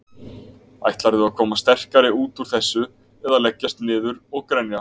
Ætlarðu að koma sterkari út úr þessu eða leggjast niður og grenja?